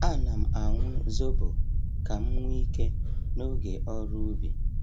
A na'm aṅụ zobo ka m nwee ike n’oge ọrụ ubi.